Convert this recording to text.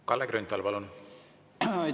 Kalle Grünthal, palun!